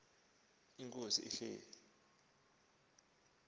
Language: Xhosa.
ukuba inkosi ihleli